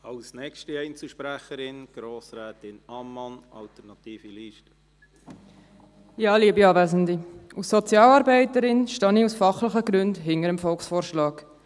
Als Sozialarbeiterin stehe ich aus fachlichen Gründen hinter dem Volksvorschlag.